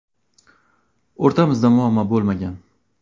O‘rtamizda muammo bo‘lmagan.